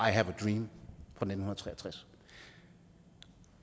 have a dream fra nitten tre og tres